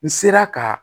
N sera ka